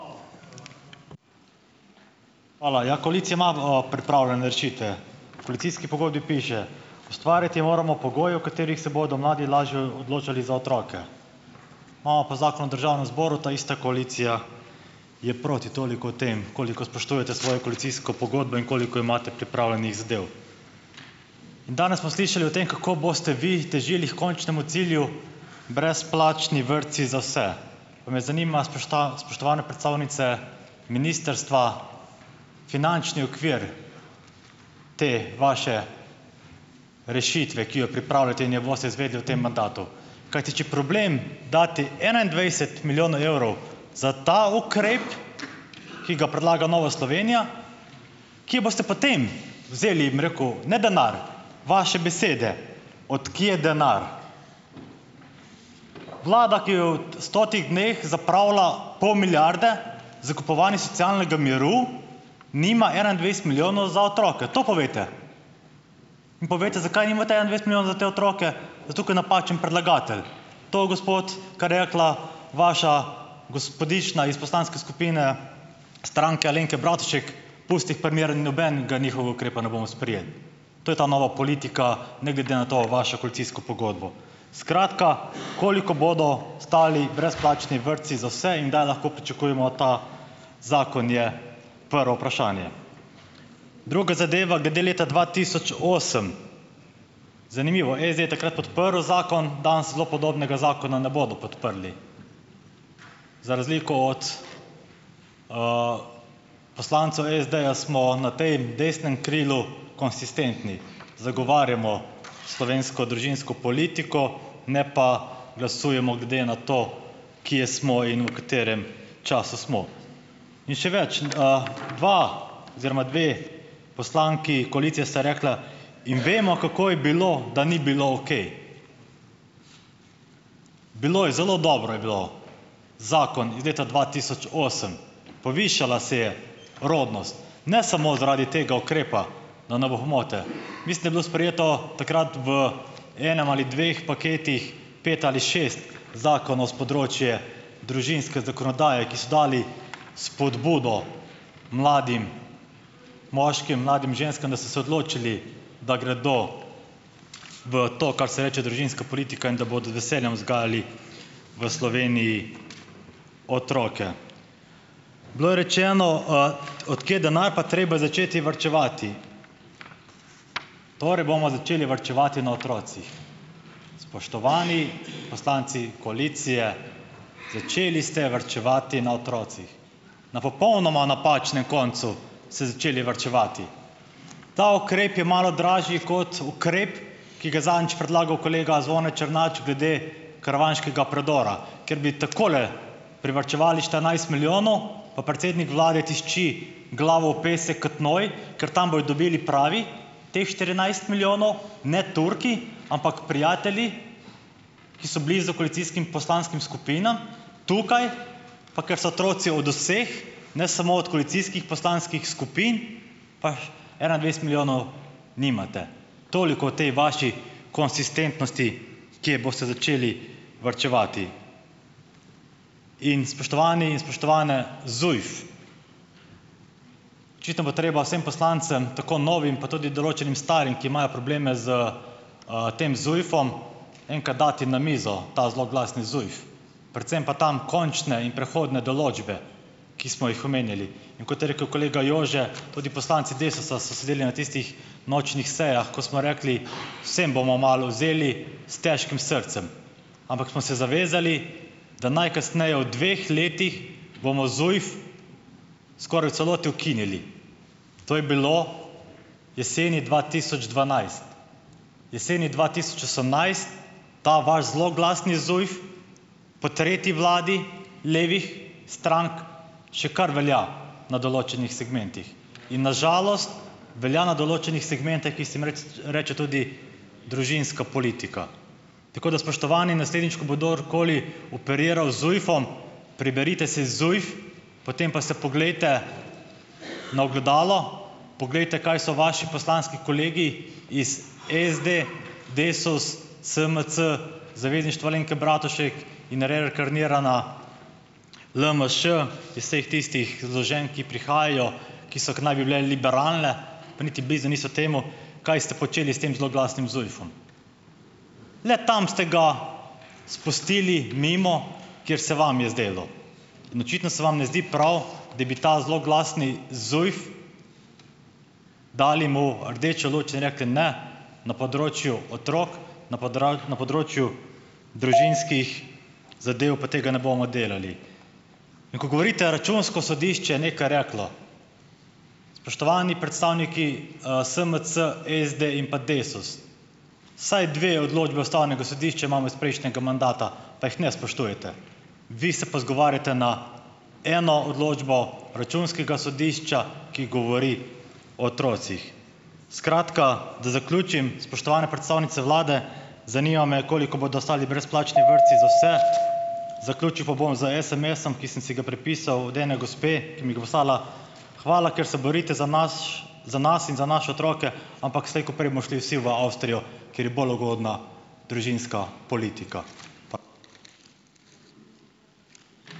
Hvala. Ja, koalicija ima, pripravljene rešitve. V koalicijski pogodbi piše: "Ustvariti moramo pogoje, v katerih se bodo mladi lažje odločali za otroke." Imamo pa zakon v državnem zboru. Ta ista koalicija je proti. Toliko o tem, koliko spoštujete svojo koalicijsko pogodbo in koliko imate pripravljenih zadev. Danes smo slišali o tem, kako boste vi težili h končnemu cilju brezplačni vrtci za vse. Pa me zanima, spoštovane predstavnice ministrstva, finančni okvir te vaše rešitve, ki jo pripravljate in jo boste izvedli v tem mandatu. Kajti če problem dati enaindvajset milijonov evrov za ta ukrep, ki ga predlaga Nova Slovenija, kje boste potem vzeli, bom rekel, ne, denar, vaše besede od kje denar. Vlada, ki je v stotih dneh zapravila pol milijarde za kupovanje socialnega miru nima enaindvajset milijonov za otroke. To povejte. In povejte, zakaj nimate enaindvajset milijonov za te otroke. Zato ker napačen predlagatelj. To, gospod, kar je rekla vaša gospodična iz poslanske skupine Stranke Alenke Bratušek: "Pusti jih pri miru, nobenega njihovega ukrepa ne bomo sprejeli." To je ta nova politika, ne glede na to, na vašo koalicijsko pogodbo. Skratka, koliko bodo stali brezplačni vrtci za vse? In kdaj lahko pričakujemo ta zakon? Je prvo vprašanje. Druga zadeva, glede leta dva tisoč osem, zanimivo, SD je takrat podprl zakon, danes zelo podobnega zakona ne bodo podprli, za razliko od, poslancev SD-ja smo na potem desnem krilu konsistentni. Zagovarjamo slovensko družinsko politiko, ne pa glasujemo glede na to, kje smo in v katerem času smo. In še več, dva oziroma dve poslanki koalicije sta rekli: "In vemo, kako je bilo, da ni bilo okej." Bilo je zelo dobro je bilo. Zakon iz leta dva tisoč osem, povišala se je rodnost. Ne samo zaradi tega ukrepa, da ne bo pomote. Mislim, da je bilo sprejeto takrat v enem ali dveh paketih, pet ali šest zakonov s področja družinske zakonodaje, ki so dali spodbudo mladim moškim, mladim ženskam, da so se odločili, da gredo v to, kar se reče družinska politika in da bodo z veseljem vzgajali v Sloveniji otroke. Bilo je rečeno, od kje denar, pa treba je začeti varčevati. Torej bomo začeli varčevati na otrocih. Spoštovani poslanci koalicije, začeli ste varčevati na otrocih. Na popolnoma napačnem koncu ste začeli varčevati. Ta ukrep je malo dražji kot ukrep, ki ga je zadnjič predlagal kolega Zvone Črnač glede karavanškega predora, ker bi takole privarčevali štirinajst milijonov, pa predsednik vlade tišči glavo v pesek kot noj, ker tam bojo dobili, pravi, teh štirinajst milijonov ne Turki, ampak prijatelji, ki so bili s koalicijskimi poslanskimi skupinami tukaj, pa ker so otroci od vseh, ne samo od koalicijskih poslanskih skupin, pa enaindvajset milijonov nimate. Toliko o tej vaši konsistentnosti, kje boste začeli varčevati. In spoštovani in spoštovane, ZUJF, očitno bo treba vsem poslancem, tako novim, pa tudi določenim starim, ki imajo probleme s, tem ZUJF-om, enkrat dati na mizo ta zloglasni ZUJF. Predvsem pa tam končne in prehodne določbe, ki smo jih omenjali. In kot je rekel kolega Jože, tudi poslanci Desusa so sedeli na tistih nočnih sejah, ko smo rekli, vsem bomo malo vzeli, s težkim srcem, ampak smo se zavezali, da najkasneje v dveh letih bomo ZUJF skoraj v celoti ukinili. To je bilo jeseni dva tisoč dvanajst. Jeseni dva tisoč osemnajst ta vaš zloglasni ZUJF, po tretji vladi levih strank še kar velja na določenih segmentih in na žalost velja na določenih segmentih, ki se jim reče tudi družinska politika. Tako da, spoštovani, naslednjič, ko bo kdorkoli operiral z ZUJF-om, preberite si ZUJF, potem pa se poglejte na ogledalo, poglejte, kaj so vaši poslanski kolegi iz SD, Desus, SMC, Zavezništva Alenke Bratušek in reinkarnirana LMŠ, iz vseh tistih zloženk, ki prihajajo, ki so, ki naj bi bile liberalne, pa niti blizu niso temu, kaj ste počeli s tem zloglasnim ZUJF-om. Le tam ste ga spustili mimo, kjer se vam je zdelo, in očitno se vam ne zdi prav, da bi ta zloglasni ZUJF, dali mu rdečo luč in rekli: "Ne, na področju otrok, na na področju družinskih zadev pa tega ne bomo delali." In ko govorite računsko sodišče je nekaj reklo. Spoštovani predstavniki SMC, SD in pa Desus, vsaj dve odločbi ustavnega sodišča imamo iz prejšnjega mandata, pa jih ne spoštujete, vi se pa izgovarjate na eno odločbo računskega sodišča, ki govori o otrocih. Skratka, da zaključim, spoštovane predstavnice vlade, zanima me, koliko bodo stali brezplačni vrtci za vse. Zaključil pa bom z SMS-om, ki sem si ga prepisal od ene gospe, ki mi ga poslala: "Hvala, ker se borite za nas, za nas in za naše otroke, ampak slej ko prej bomo šli vsi v Avstrijo, kjer je bolj ugodna družinska politika."